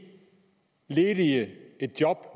ledige et job